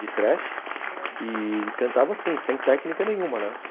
de Thrash, e cantava assim, sem técnica nenhuma, né?